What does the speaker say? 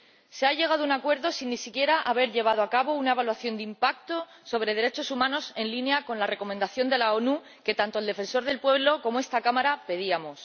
Se ha llegado a un acuerdo sin ni siquiera haber llevado a cabo una evaluación de impacto sobre los derechos humanos en línea con la recomendación de las Naciones Unidas, que tanto el Defensor del Pueblo como esta Cámara pedíamos.